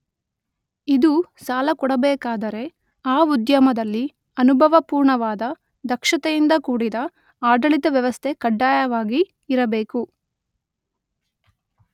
ಇದು ಸಾಲ ಕೊಡಬೇಕಾದರೆ ಆ ಉದ್ಯಮದಲ್ಲಿ ಅನುಭವಪೂರ್ಣವಾದ ದಕ್ಷತೆಯಿಂದ ಕೂಡಿದ ಆಡಳಿತ ವ್ಯವಸ್ಥೆ ಕಡ್ಡಾಯವಾಗಿ ಇರಬೇಕು.